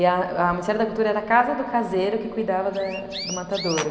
E o Ministério da Cultura era a casa do caseiro que cuidava do matadouro.